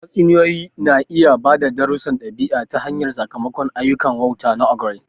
Tatsuniyoyi na iya ba da darussan ɗabi'a ta hanyar sakamakon ayyukan wauta na ogre.